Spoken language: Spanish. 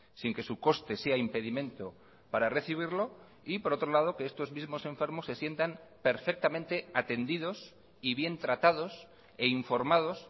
sin que su coste sea impedimento para recibirlo y por otro lado que estos mismos enfermos se sientan perfectamente atendidos y bien tratados e informados